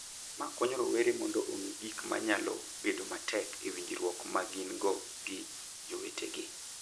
Mae konyo rowere mondo ong’e gik ma nyalo bedo matek e winjruok ma gin-go gi jowetegi,